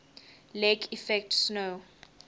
lake effect snow